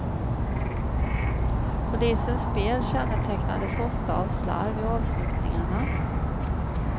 Polisens spel kännetecknades ofta av slarv i avslutningarna.